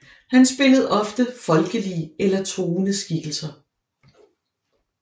Han spillede ofte folkelige eller truende skikkelser